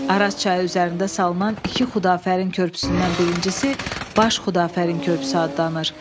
Araz çayı üzərində salınan iki Xudafərin körpüsündən birincisi Baş Xudafərin körpüsü adlanır.